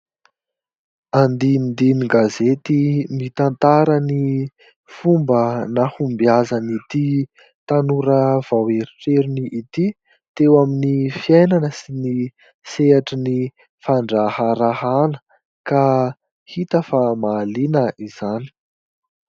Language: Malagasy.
Andinindin-gazety mitantara ny fomba nahombiazan'ity tanora vao eritreriny ity teo amin'ny fiainana sy ny sehatry ny fandraharahana ka hita fa mahaliana izany